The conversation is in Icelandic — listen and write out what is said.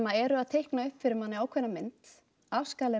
eru að teikna upp fyrir manni ákveðna mynd af skaðlegri